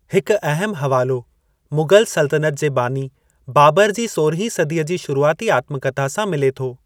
हिकु अहम हवालो मुग़ल सल्तनतु जे बानी बाबर जी सोरहीं सदीअ जी शुरुआती आत्मकथा सां मिले थो।